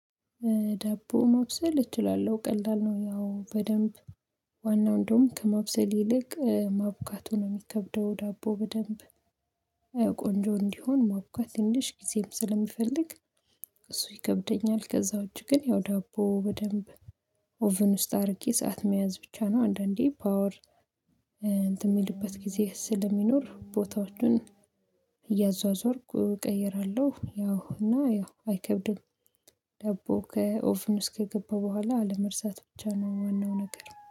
ዳቦ መብሰል እችላለሁ ቀላል ነው። ያው በደንብ ዋናው እንደውም ከመብሰል ይልቅ ማቡካቱ ነው ሚከብደው ዳቦ በደንብ ቆንጆ እንዲሆን ማቡካት ትንሽ ጊዜም ስለሚፈልግ እሱ ይከብደኛል። ከዛ ዉጭ ግን ያው ዳቦ በደንብ ኦቭን ውስጥ አድርጌ ሰዓት መያዝ ብቻ ነው። አንዳንዴ ፓወር የሚልበት ጊዜ ስለሚኖር ቦታዎቹን እያዟዟርኩ እቀይራለሁ። ያው እና ያው አይከብድም። ደቦ ከኦቭን ውስጥ ከገባ በኋላ አለመርሳት ብቻ ነው ዋናው ነገር